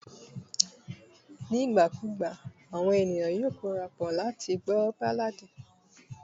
ní ìgbà kù ìgbà àwọn ènìyàn ma n korapo láti gbọ balladi